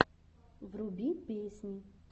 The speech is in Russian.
вруби песни